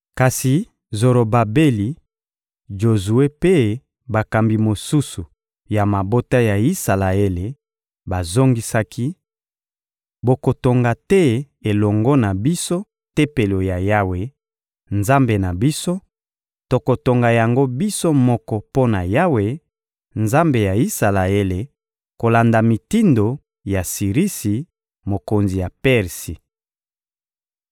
Kasi Zorobabeli, Jozue mpe bakambi mosusu ya mabota ya Isalaele bazongisaki: — Bokotonga te elongo na biso Tempelo ya Yawe, Nzambe na biso; tokotonga yango biso moko mpo na Yawe, Nzambe ya Isalaele, kolanda mitindo ya Sirisi, mokonzi ya Persi.